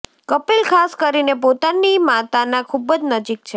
કપિલ ખાસ કરીને પોતાની માતાના ખૂબ જ નજીક છે